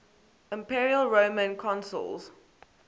imperial roman consuls